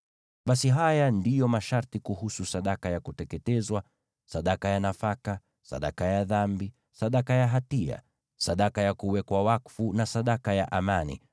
Basi haya ndiyo masharti kuhusu sadaka ya kuteketezwa, sadaka ya nafaka, sadaka ya dhambi, sadaka ya hatia, sadaka ya kuwekwa wakfu, na sadaka ya amani,